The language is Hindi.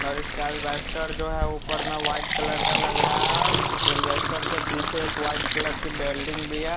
और इसके एल्वेस्टर जो है ऊपर में वाइट कलर का लग रहा है उस एल्वेस्टर के पीछे एक वाइट कलर की बिल्डिंग भी है।